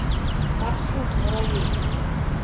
маршрут муравей